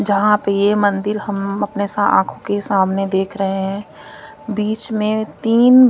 जहां पे ये मंदिर हम अपने सा आंखों के सामने देख रहे हैं बीच में तीन--